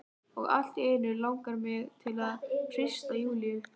Og allt í einu langar mig til að hrista Júlíu.